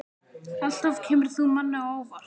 Alltaf kemur þú manni á óvart.